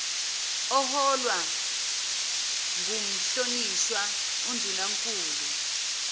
oholwa ngumhlonishwa undunankulu